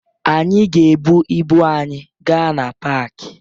Anyị ga-ebu ibu anyị gaa na paakị